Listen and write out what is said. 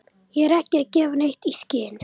Ég er ekki að gefa neitt í skyn.